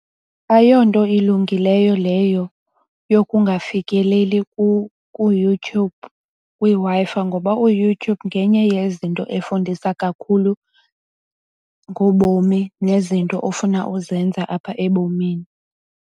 Ayonto ilungileyo leyo yokungafikeleli kuYouYube kwiWi-Fi ngoba uYouTube ngenye yezinto efundisa kakhulu ngobomi nezinto ofuna uzenza apha ebomini.